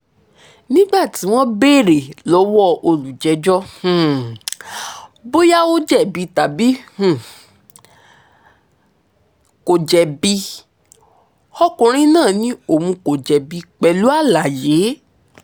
nígbà tí wọ́n béèrè lọ́wọ́ olùjẹ́jọ́ um bóyá ó jẹ̀bi tàbí kó um jẹ̀bi ọkùnrin náà ni òun kò jẹ̀bi pẹ̀lú àlàyé